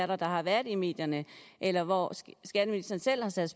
der har været i medierne eller hvor skatteministeren selv har sat